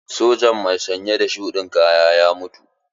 Sojan mai sanye da shuɗin kaya ya mutu.